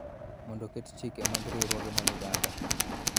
Mondo oket chike mag riwruoge mag oganda.